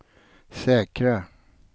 säkra